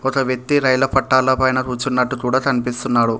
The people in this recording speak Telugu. ఒక వ్యక్తి రైలు పట్టాల పైన కూర్చున్నట్టు కూడా కనిపిస్తున్నాడు.